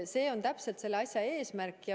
See täpselt on eesmärk.